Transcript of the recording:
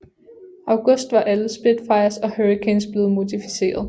August var alle Spitfires og Hurricanes blevet modificeret